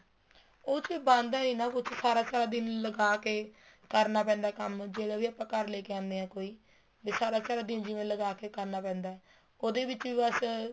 ਉਹ ਚ ਬਣਦਾ ਨਹੀਂ ਨਾ ਕੁੱਛ ਸਾਰਾ ਸਾਰਾ ਦਿਨ ਲਗਾਕੇ ਕਰਨਾ ਪੈਂਦਾ ਹੈ ਕੰਮ ਜਿਹੜਾ ਵੀ ਆਪਾਂ ਘਰ ਲੈਕੇ ਆਣੇ ਹਾਂ ਕੋਈ ਵੀ ਸਾਰਾ ਸਾਰਾ ਦਿਨ ਜਿਵੇਂ ਲਗਾਕੇ ਕਰਨਾ ਪੈਂਦਾ ਏ ਉਹਦੇ ਵਿੱਚ ਬੱਸ